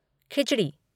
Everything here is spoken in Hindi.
खिचड़ी